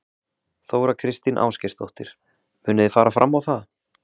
Þóra Kristín Ásgeirsdóttir: Munið þið fara fram á það?